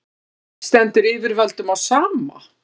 stendur yfirvöldum á sama